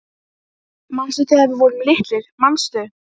Manstu þegar við vorum litlir, manstu